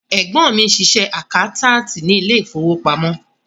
Ẹ̀gbọ́n mi ń ṣiṣẹ́ àkáńtáàtì ní ilé ìfowópamọ́.